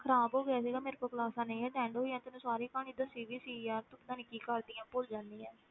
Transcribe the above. ਖ਼ਰਾਬ ਹੋ ਗਿਆ ਸੀਗਾ ਮੇਰੇ ਤੋਂ classes ਨਹੀਂ attend ਹੋਈਆਂ ਤੈਨੂੰ ਸਾਰੀ ਕਹਾਣੀ ਦੱਸੀ ਵੀ ਸੀ ਯਾਰ, ਤੂੰ ਪਤਾ ਨੀ ਕੀ ਕਰਦੀ ਹੈਂ, ਭੁੱਲ ਜਾਨੀ ਹੈਂ।